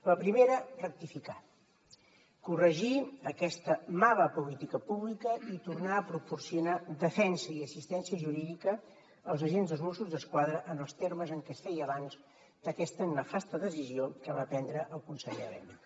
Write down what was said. la primera rectificar corregir aquesta mala política pública i tornar a proporcionar defensa i assistència jurídica als agents dels mossos d’esquadra en els termes en què es feia abans d’aquesta nefasta decisió que va prendre el conseller elena